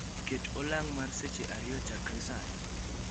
Ket olang' mar seche ariyo chakore sani